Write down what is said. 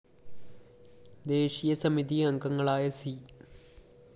ദേശീയ സമിതി അംഗങ്ങളായ സി